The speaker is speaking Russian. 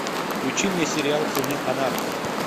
включи мне сериал сыны анархии